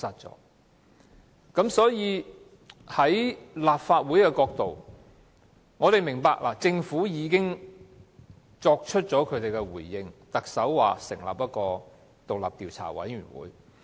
從立法會的角度，我們明白政府已經作出回應，因為特首表示會成立獨立調查委員會。